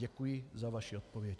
Děkuji za vaši odpověď.